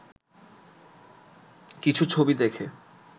কিছু ছবি দেখে